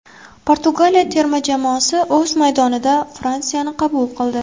Portugaliya terma jamoasi o‘z maydonida Fransiyani qabul qildi.